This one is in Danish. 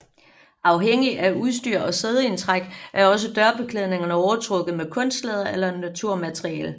Afhængigt af udstyr og sædeindtræk er også dørbeklædningerne overtrukket med kunstlæder eller naturmateriale